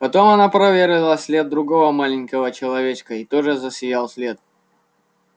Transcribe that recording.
потом она проверила след другого маленького человечка и тоже засиял след